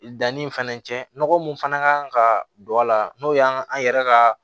Danni fɛnɛ cɛ nɔgɔ min fana kan ka don a la n'o y'an ka an yɛrɛ ka